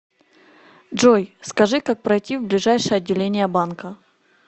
джой скажи как пройти в ближайшее отделение банка